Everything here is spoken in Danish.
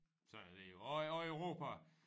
Sådan er det jo og og Europa